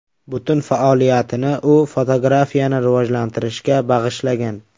Butun faoliyatini u fotografiyani rivojlantirishga bag‘ishlagan.